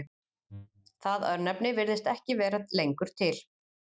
Það örnefni virðist ekki vera lengur til.